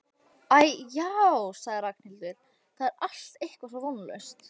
Æ, já sagði Ragnhildur, það er allt eitthvað svo vonlaust